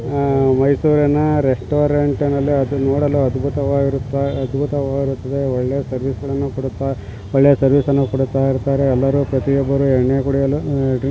ಆಹ್ಹ್ ಮೈಸೂರಿನ ರೆಸ್ಟೋರೆಂಟ್ ನಲ್ಲಿ ಅದು ನೋಡಲು ಅದ್ಭುತವಾಗಿರುತ್ತ ಅದ್ಭುತವಾಗಿರುತ್ತದೆ ಒಳ್ಳೆ ಸರ್ವಿಸ ಗಳನ್ನು ಕೊಡುತ್ತಾ ಒಳ್ಳೆ ಸರ್ವಿಸ್ ಅನ್ನು ಕೊಡುತ್ತಾ ಇರ್ತಾರೆ ಎಲ್ಲರೂ ಪ್ರತಿಯೊಬ್ಬರು ಎಣ್ಣೆ ಕುಡಿಯಲು ಆಹ್ ಡ್ರಿಂಕ್ಸ್ --